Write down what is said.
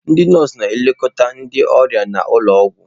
Ndị nọọsụ na-elekọta ndị ọrịa n'ụlọ ọgwụ.